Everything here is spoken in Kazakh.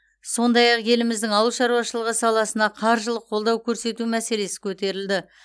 сондай ақ еліміздің ауыл шаруашылығы саласына қаржылық қолдау көрсету мәселесі көтерілді